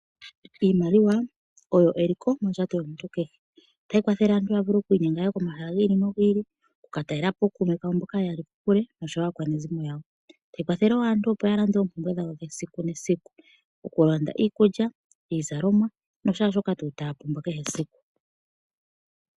Iimaliwa oyo eliko mondjato yomuntu kehe. Otayi kwathele aantu ya vule okwi inyenga yaye komahala gi ili nogi ili, oku ka talelapo ookuume kawo mboka ye ya li kokule noshowo aakwanezimo yawo. Tayi kwathele wo aantu opo ya lande oompumbwe dhawo dhesiku nesiku, okulanda iikulya, iizalomwa no shaashoka tuu taa pumbwa kehe esiku.